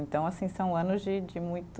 Então, assim, são anos de de muito